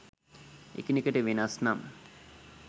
එකිනෙකට වෙනස් නම්